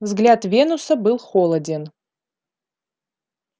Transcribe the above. взгляд венуса был холоден